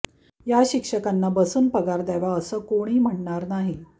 या शिक्षकांना बसून पगार द्यावा असं कुणी म्हणणार नाही